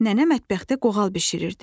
Nənə mətbəxdə qoğal bişirirdi.